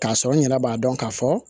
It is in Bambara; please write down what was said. K'a sɔrɔ n yɛrɛ b'a dɔn k'a fɔ